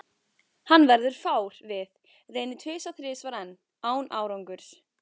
Hann verður fár við, reynir tvisvar-þrisvar enn, án árangurs.